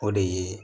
O de ye